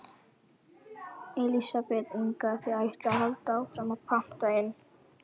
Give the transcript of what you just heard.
Elísabet Inga: Þið ætlið að halda áfram að panta inn?